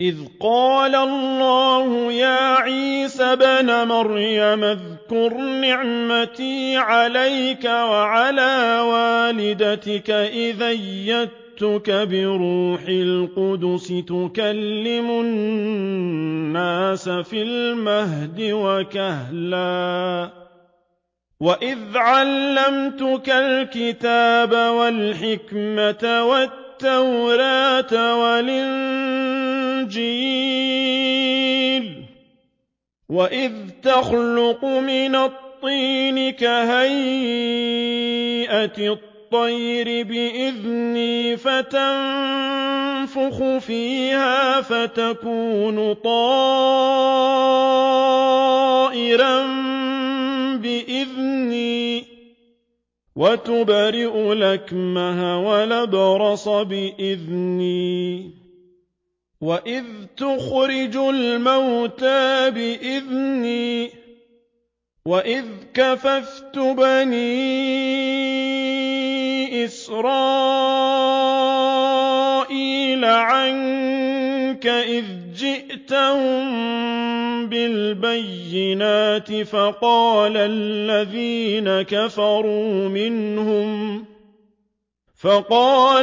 إِذْ قَالَ اللَّهُ يَا عِيسَى ابْنَ مَرْيَمَ اذْكُرْ نِعْمَتِي عَلَيْكَ وَعَلَىٰ وَالِدَتِكَ إِذْ أَيَّدتُّكَ بِرُوحِ الْقُدُسِ تُكَلِّمُ النَّاسَ فِي الْمَهْدِ وَكَهْلًا ۖ وَإِذْ عَلَّمْتُكَ الْكِتَابَ وَالْحِكْمَةَ وَالتَّوْرَاةَ وَالْإِنجِيلَ ۖ وَإِذْ تَخْلُقُ مِنَ الطِّينِ كَهَيْئَةِ الطَّيْرِ بِإِذْنِي فَتَنفُخُ فِيهَا فَتَكُونُ طَيْرًا بِإِذْنِي ۖ وَتُبْرِئُ الْأَكْمَهَ وَالْأَبْرَصَ بِإِذْنِي ۖ وَإِذْ تُخْرِجُ الْمَوْتَىٰ بِإِذْنِي ۖ وَإِذْ كَفَفْتُ بَنِي إِسْرَائِيلَ عَنكَ إِذْ جِئْتَهُم بِالْبَيِّنَاتِ فَقَالَ